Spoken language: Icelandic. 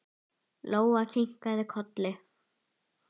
Lóa kinkaði kolli.